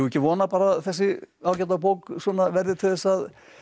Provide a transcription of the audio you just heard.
vona að þessi ágæta bók verði til þess að